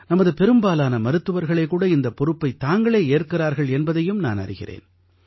நமது பெரும்பாலான மருத்துவர்களே கூட இந்தப் பொறுப்பைத் தாங்களே ஏற்கிறார்கள் என்பதையும் நான் அறிகிறேன்